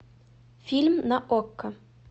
фильм на окко